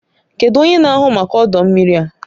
Kedu onye na-ahụ maka ọdọ mmiri a?